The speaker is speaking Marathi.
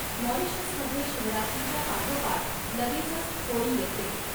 मॉरिशसमध्ये शिवरात्रीच्या पाठोपाठ लगेचच होळी येते.